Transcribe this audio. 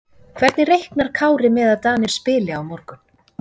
Hvernig reiknar Kári með að Danir spili á morgun?